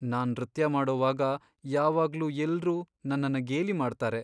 ನಾನ್ ನೃತ್ಯ ಮಾಡೋವಾಗ ಯಾವಾಗ್ಲೂ ಎಲ್ರೂ ನನ್ನನ್ನ ಗೇಲಿ ಮಾಡ್ತಾರೆ.